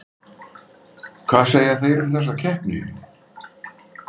Hvað segja þeir um þessa keppni?